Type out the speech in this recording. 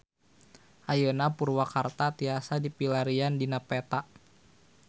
Ayeuna Purwakarta tiasa dipilarian dina peta